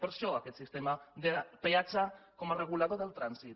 per això aquest sistema de peatge com a regulador del trànsit